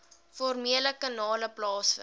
formele kanale plaasvind